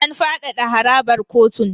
An fadada harabar kotun.